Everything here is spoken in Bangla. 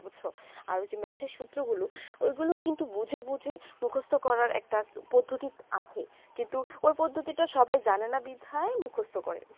আরও যে math এ সূত্র গুলু ঐই গুলু কিন্তু বোঝে বোঝে মুখস্ত করা একটা পদত্যিক আছে কিন্তু ঐই পদ্ধিতি তা সবাই জানে না বিধায় মুকস্ত করে